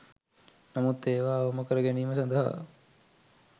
නමුත් ඒවා අවම කර ගැනීම සඳහා